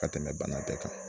Ka tɛmɛ banakɛ kan.